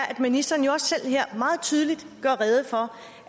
at ministeren jo også selv her meget tydeligt gør rede for